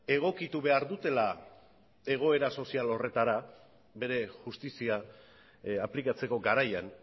egokitu behar dutela egoera sozial horretara bere justizia aplikatzeko garaian